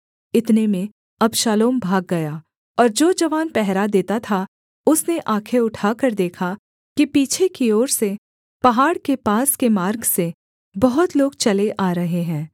इतने में अबशालोम भाग गया और जो जवान पहरा देता था उसने आँखें उठाकर देखा कि पीछे की ओर से पहाड़ के पास के मार्ग से बहुत लोग चले आ रहे हैं